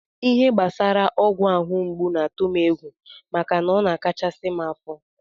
Ihe gbasara ọgwụ ahụ mgbu na-atụ m egwu maka na ọ na-achakasị m afọ